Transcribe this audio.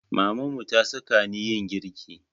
Mamanmu ta saka ni yin girki